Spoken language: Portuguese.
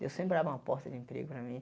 Deus sempre abre uma porta de emprego para mim.